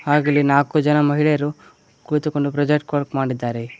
ಆಗಲಿ ನಾಕು ಜನ ಮಹಿಳೆಯರು ಕುಳಿತು ಕೊಂಡು ಪ್ರೊಜೆಕ್ಟ್ ವರ್ಕ್ ಮಾಡಿದ್ದಾರೆ.